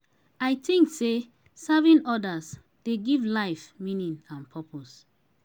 i think say serving others dey give life meaning and purpose.